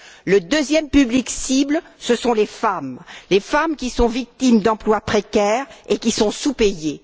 Le deuxième public cible, ce sont les femmes, les femmes qui sont victimes d'emplois précaires et qui sont sous payées.